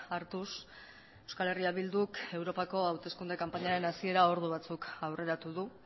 hartuz euskal herria bilduk europako hauteskunde kanpainaren hasiera ordu batzuk aurreratu du